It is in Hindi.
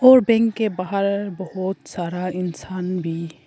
और बैंक के बाहर बहोत सारा इंसान भी--